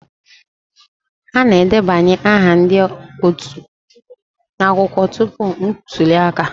A na-edebanye aha ndị otu n'akwụkwọ tupu ntuli aka